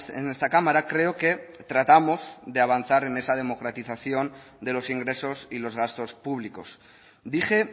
en esta cámara creo que tratamos de avanzar en esa democratización de los ingresos y los gastos públicos dije